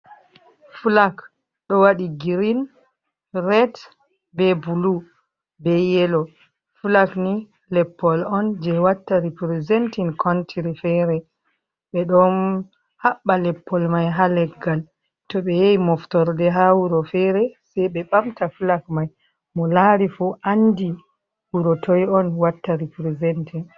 flak do wadi grin, red, bulu be yelo. flak ni leppol on je watta riprizentin kontiri fere.Be don haɓba leppol mai ha leggal to ɓe yehi moftorde ha wuro fere sei ɓe ɓamta flak mai mo lari fu andi wuro toi on watta riprizentin.